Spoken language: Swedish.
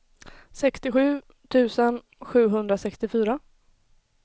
sextiosju tusen sjuhundrasextiofyra